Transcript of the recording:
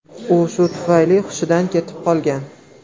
U shu tufayli hushidan ketib qolgan .